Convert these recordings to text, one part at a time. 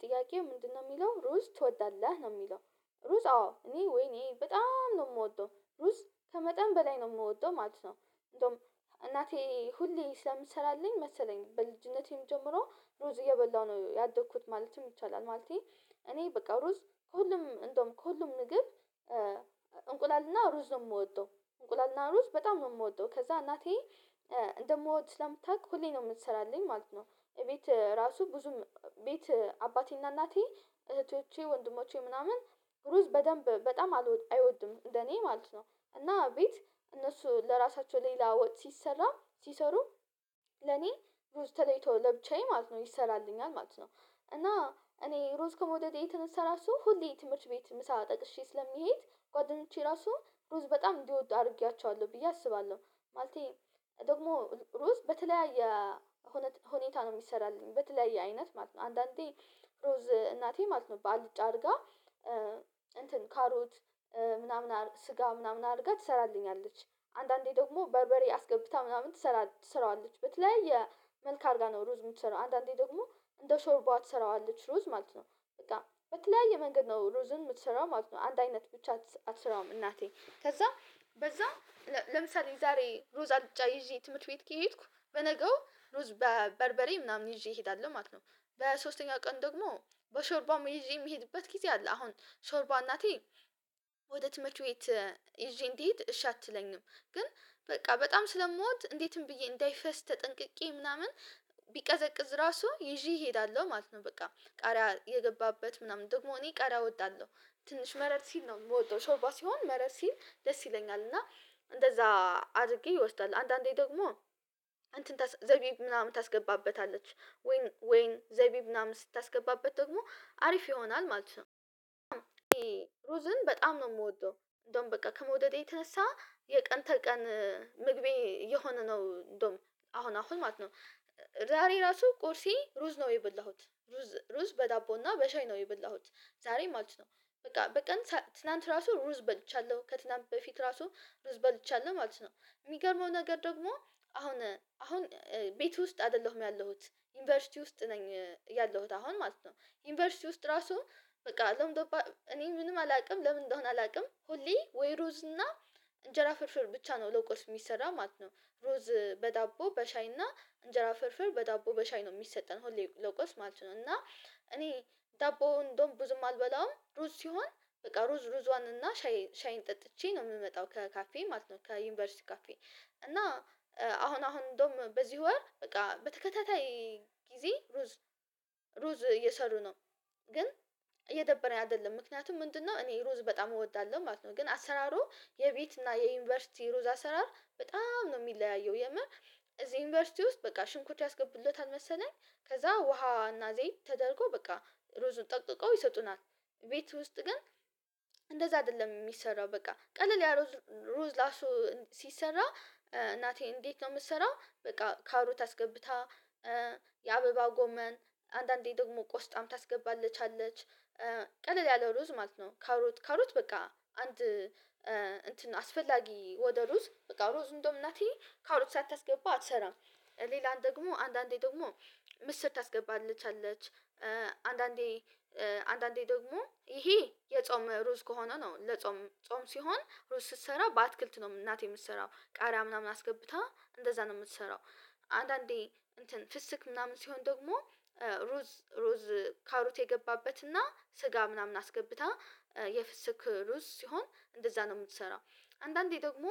ጥያቄው ምንድነው የሚለው ሩዝ ትወዳለህ ነው የሚለው? ሩዝ አዎ እኔ ወይኔ በጣም ነው የምወደው ሩዝ ከመጠን በላይ ነው የምወደው ማለት ነው። እንደውም እናቴ ሁሌ ስለምሰራልኝ መሰለኝ በልጅነቴም ጀምሮ ሩዝ እየበላሁ ነው ያደኩት ማለትም ይቻላል ማለቴ። እኔ በቃ ሩዝ ሁሉም እንደውም ከሁሉም ምግብ እንቁላልና ሩዝ ነው የምወደው። እንቁላልና ሩዝ በጣም ነው የምወደው ከዛ እናቴ እንደምወድ ስለምታውቅ ሁሌ ነው የምትሰራልኝ ማለት ነው። እቤት ራሱ ብዙም ቤት አባቴና እናቴ እህቶቼ ወንድሞቼ ምናምን ሩዝ በደንብ በጣም አይወድም እንደኔ ማለት ነው። እና ቤት እነሱ ለራሳቸው ሌላ ወጥ ሲሰራ ሲሰሩ ለኔ ሩዝ ተለይቶ ለብቻዬ ማለት ነው ይሰራልኛል ማለት ነው። እና እኔ ሩዝ ከመውደዴ የተነሳ ራሱ ሁሌ ትምህርት ቤት ምሳ ጠቅሼ ስለሚሄድ ጓደኞቼ ራሱ ብሩዝ በጣም እንዲወዱ አድርጌያቸዋለሁ ብዬ አስባለሁ። ማለቴ ደግሞ ሩዝ በተለያየ ሁኔታ ነው የሚሰራልኝ በተለያየ አይነት ማለት ነው። አንዳንዴ ሩዝ እናቴ ማለት ነው ባልጭ አድርጋ እንትን ካሮት ምናምን ስጋ ምናምን አድርጋ ትሰራለች። አንዳንዴ ደግሞ በርበሬ አስገብታ ምናምን ትሰራዋለች በተለያየ መልክ አድርጋ ነው ሩዝ የምትሰራው አንዳንዴ ደግሞ እንደ ሾርቧ ትሰራዋለች ሩዝ ማለት ነው። በቃ በተለያየ መንገድ ነው ሩዝን የምትሰራው ማለት ነው አንድ አይነት ብቻ አትሰራውም እናቴ ከዛ በዛም ለምሳሌ ዛሬ ሩዛ አጫ ይዤ ትምህርት ቤት ከሄድኩ በነገው ሩዝ በበርበሬ ምናምን ይዤ እሄዳለሁ ማለት ነው። በሶስተኛ ቀን ደግሞ በሾርባም ይዤ የሚሄድበት ጊዜ አለ አሁን ሾርባ እናቴ ወደ ትምህርት ቤት ይዤ እንድሄድ እሺ አትለኝም። ግን በቃ በጣም ስለምወድ እንዴትም ብዬ እንዳይፈስ ተጠንቅቄ ምናምን ቢቀዘቅዝ ራሱ ይዤ እሄዳለሁ ማለት ነው። በቃ ቃሪያ የገባበት ምናምን ደግሞ እኔ ቃሪያ እወዳለሁ ትንሽ መረር ሲል ነው የምወደው ሾርባ ሲሆን መረር ሲል ደስ ይለኛል እና እንደዛ አድርጌ ይወስዳል አንዳንዴ ደግሞ እንትን ዘቢብ ምናምን ታስገባበታለች ወይን ወይን ዘቢብ ምናምን ስታስገባበት ደግሞ አሪፍ ይሆናል ማለት ነው ሩዝን በጣም ነው የምወደው። እንደውም በቃ ከመውደዴ የተነሳ የቀን ተቀን ምግቤ የሆነ ነው እንደውም አሁን አሁን ማለት ነው። ዛሬ ራሱ ቁርሴ ሩዝ ነው የበላሁት ሩዝ ሩዝ በዳቦና በሻይ ነው የበላሁት ዛሬ ማለት ነው በቃ በቀን ትላንት ራሱ ሩዝ በልቻለሁ ከትናንት በፊት ራሱ ሩዝ በልቻለሁ ማለት ነው። የሚገርመው ነገር ደግሞ አሁን አሁን ቤት ውስጥ አይደለሁም ያለሁት ዩኒቨርሲቲ ውስጥ ነኝ ያለሁት አሁን ማለት ነው። ዩኒቨርሲቲ ውስጥ ራሱ በቃ እኔ ምንም አላውቅም ለምን እንደሆነ አላውቅም ሁሌ ወይ ሩዝ እና እንጀራ ፍርፍር ብቻ ነው ለቆስ የሚሰራ ማለት ነው። ሮዝ በዳቦ በሻይ እና እንጀራ ፍርፍር በዳቦ በሻይ ነው የሚሰጠን ሆሌ ለቁርስ ማለት ነው። እና እኔ ዳቦውን እንደውም ብዙም አልበላውም ሩዝ ሲሆን በቃ ሩዝ ሩዝዋን እና ሻይ ሻይን ጠጥቼ ነው የምመጣው ከካፌ ማለት ነው። ከዩኒቨርሲቲ ካፌ እና አሁን አሁን እንደውም በዚህ ወር በቃ በተከታታይ ጊዜ ሩዝ ሩዝ እየሰሩ ነው። ግን እየደበረኝ አይደለም ምክንያቱም ምንድነው እኔ ሩዝ በጣም እወዳለሁ ማለት ነው። ግን አሰራሩ የቤት እና የዩኒቨርሲቲ ሩዝ አሰራር በጣም ነው የሚለያየው የምር እዚህ ዩኒቨርሲቲ ውስጥ በቃ ሽንኩርት ያስገቡለታል መሰለኝ ከዛ ውሃ እና ዘይት ተደርጎ በቃ ሩዝ ጠቅጥቀው ይሰጡናል። ቤት ውስጥ ግን እንደዛ አይደለም የሚሰራው በቃ ቀለል ያ ሩዝ ራሱ ሲሰራ እናቴ እንዴት ነው የምትሰራው በቃ ካሮት አስገብታ የአበባ ጎመን አንዳንዴ ደግሞ ቆስጣም ታስገባለታለች ቀለል ያለው ሩዝ ማለት ነው ካሮት ካሮት በቃ አንድ እንትን አስፈላጊ ወደ ሩዝ በቃ ሩዝ እንደውም እናቴ ከሮት ሳታስገባ አትሰራም። ሌላን ደግሞ አንዳንዴ ደግሞ ምስር ታስገባለታለች አንዳንዴ አንዳንዴ ደግሞ ይሄ የጾም ሩዝ ከሆነ ነው ለጾም ጾም ሲሆን ሩዝ ስትሰራ በአትክልት ነው እናቴ የምትሰራው ቃሪያ ምናምን አስገብታ እንደዛ ነው የምትሰራው። አንዳንዴ እንትን ፍስክ ምናምን ሲሆን ደግሞ ሩዝ ሩዝ ካሮት የገባበትና ስጋ ምናምን አስገብታ የፍስክ ሩዝ ሲሆን እንደዛ ነው የምትሰራው። አንዳንዴ ደግሞ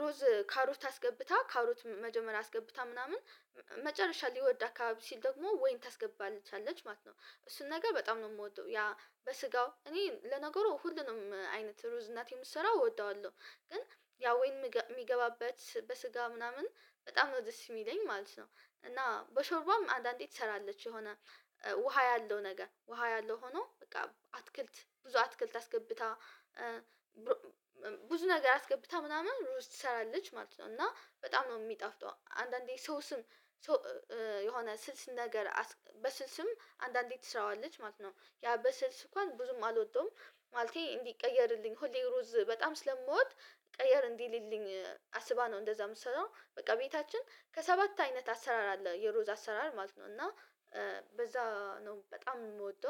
ሩዝ ካሮት አስገብታ ካሮት መጀመሪያ አስገብታ ምናምን መጨረሻ ሊወድ አካባቢ ሲል ደግሞ ወይን ታስገባለታለች ማለት ነው። እሱን ነገር በጣም ነው የምወደው ያ በስጋው እኔ ለነገሩ ሁሉንም አይነት ሩዝ እናቴን የምትሰራው እወደዋለሁ ግን ያው ወይን የሚገባበት በስጋ ምናምን በጣም ነው ደስ የሚለኝ ማለት ነው። እና በሾርባም አንዳንዴ ትሰራለች የሆነ ውሃ ያለው ነገር ውሃ ያለው ሆኖ በቃ አትክልት ብዙ አትክልት አስገብታ ብዙ ነገር አስገብታ ምናምን ሩዝ ትሰራለች ማለት ነው። እና በጣም ነው የሚጣፍጠው አንዳንዴ ሰው ስም የሆነ ስልስ ነገር በስልስም አንዳንዴ ትስራዋለች ማለት ነው። ያ በስልስ እንኳን ብዙም አልወደውም። ማለቴ እንዲቀየርልኝ ሁሌ ሩዝ በጣም ስለምወድ ቀየር እንዲልልኝ አስባ ነው እንደዛ የምትሰራው በቃ ቤታችን ከሰባት አይነት አሰራር አለ የሩዛ አሰራር ማለት ነው። እና በዛ ነው በጣም የምወደው